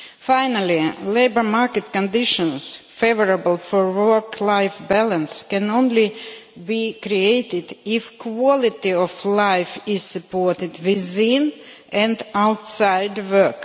Finally, labour market conditions favourable for work life balance can only be created if quality of life is supported within and outside work.